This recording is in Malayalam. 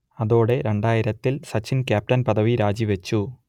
അതോടെ രണ്ടായിരംത്തിൽ സച്ചിൻ ക്യാപ്റ്റൻ പദവി രാജിവച്ചു